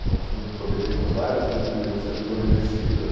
Então tinham que desobedecer várias coisas que deviam ser desobedecidas.